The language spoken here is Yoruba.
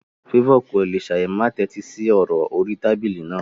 Favour kò lè ṣáì má tẹ́tí sí ọ̀rọ̀ orí tábìlì náà.